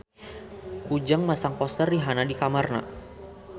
Ujang masang poster Rihanna di kamarna